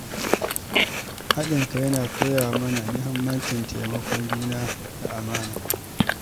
Haɗin kai yana koya mana muhimmancin taimakon juna da amana.